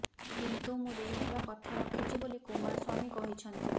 କିନ୍ତୁ ମୁଁ ଦେଇଥିବା କଥା ରଖିଛି ବୋଲି କୁମାରସ୍ୱାମୀ କହିଛନ୍ତି